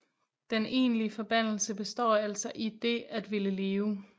Den egentlige forbandelse består altså i det at ville leve